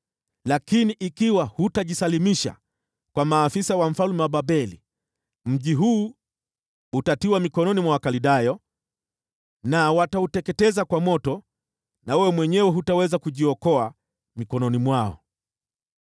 Lakini ikiwa hutajisalimisha kwa maafisa wa mfalme wa Babeli, mji huu utatiwa mikononi mwa Wakaldayo na watauteketeza kwa moto, nawe mwenyewe hutaweza kujiokoa mikononi mwao.’ ”